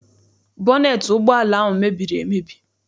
Bọneet ụgbọala ahụ mebiri emebi.